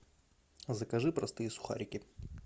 закажи простые сухарики